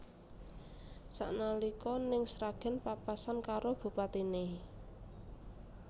Sak nalika ning Sragen papasan karo bupatine